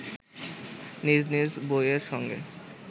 নিজ নিজ বইয়ের সঙ্গে